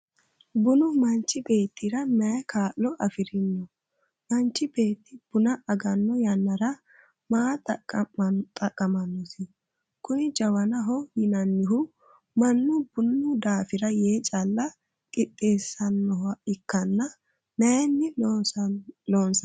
bunu manchi beettira mayi kaa'lo afirino? manchi beetti buna aganno yannara ma xaqqamannosi? kuni jawanaho yinannihu mannu bunu daafira yee calla qixxeessannoha ikkanna mayiinni loonsanniho?